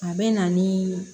A bɛ na ni